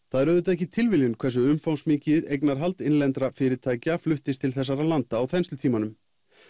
það er auðvitað ekki tilviljun hversu umfangsmikið eignarhald innlendra fyrirtækja fluttist til þessara landa á þenslutímanum